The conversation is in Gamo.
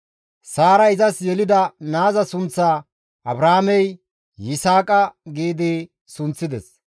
Saaray izas yelida naaza sunththaa Abrahaamey, «Yisaaqa» gi sunththides.